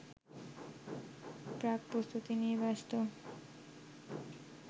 প্রাকপ্রস্তুতি নিয়ে ব্যস্ত